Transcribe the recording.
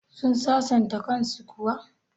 Sun sasanta kan su kuwa?